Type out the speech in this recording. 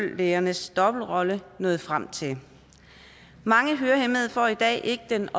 ørelægernes dobbeltrolle nået frem til mange hørehæmmede får i dag ikke den